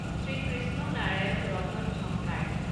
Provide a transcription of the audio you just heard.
Shrikrishna Narayan Ratan Jhankar